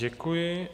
Děkuji.